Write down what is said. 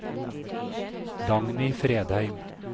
Dagny Fredheim